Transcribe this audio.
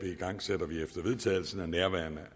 igangsætter vi efter vedtagelsen af nærværende